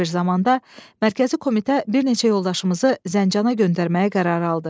Belə bir zamanda mərkəzi komitə bir neçə yoldaşımızı Zəncana göndərməyə qərar aldı.